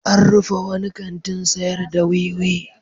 An rufe wani kantin sayar da wiwi.